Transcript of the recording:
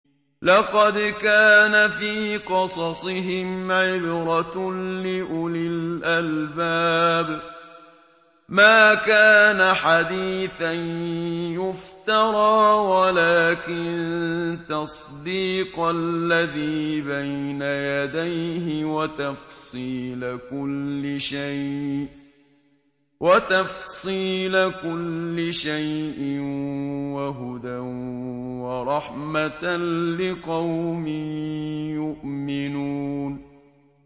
لَقَدْ كَانَ فِي قَصَصِهِمْ عِبْرَةٌ لِّأُولِي الْأَلْبَابِ ۗ مَا كَانَ حَدِيثًا يُفْتَرَىٰ وَلَٰكِن تَصْدِيقَ الَّذِي بَيْنَ يَدَيْهِ وَتَفْصِيلَ كُلِّ شَيْءٍ وَهُدًى وَرَحْمَةً لِّقَوْمٍ يُؤْمِنُونَ